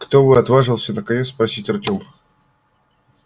кто вы отважился наконец спросить артём